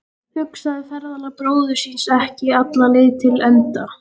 Hugsaði ferðalag bróður síns ekki alla leið til enda.